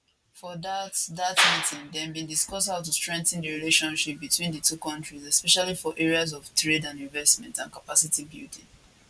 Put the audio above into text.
for dat dat meeting dem bin discuss how to strengthen di relationship between di two kontris especially for areas of trade and investment and capacity building